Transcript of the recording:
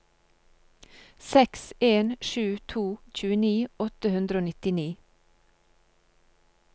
seks en sju to tjueni åtte hundre og nittini